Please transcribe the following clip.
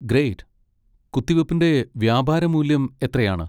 Great. കുത്തിവെപ്പിൻ്റെ വ്യാപാരമൂല്യം എത്രയാണ്.